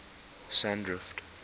sandrift